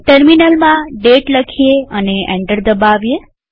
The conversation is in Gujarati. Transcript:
ટર્મિનલમાં દાતે લખીએ અને એન્ટર દબાવીએ